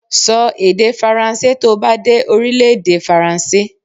Sọ èdè faransé to bá dé Orílèdè Faransé